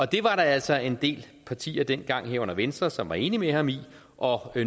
det var der altså en del partier dengang herunder venstre som var enig med ham i og